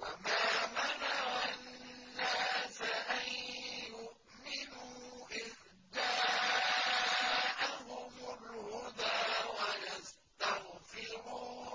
وَمَا مَنَعَ النَّاسَ أَن يُؤْمِنُوا إِذْ جَاءَهُمُ الْهُدَىٰ وَيَسْتَغْفِرُوا